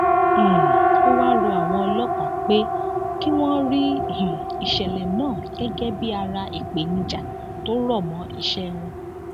um ó wáá rọ àwọn ọlọpàá pé kí wọn rí um ìṣẹlẹ náà gẹgẹ bíi ara ìpèníjà tó rọ mọ iṣẹ wọn